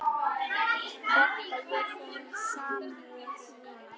Votta ég þeim samúð mína.